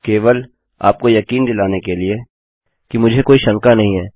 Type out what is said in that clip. केवल आपको यकीन दिलाने के लिए कि मुझे कोई शंका नहीं है